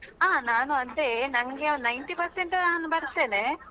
ಹಾ ನಾನು ಅದೇ ನಂಗೆ Ninety Percent ನಾನು ಬರ್ತೇನೆ.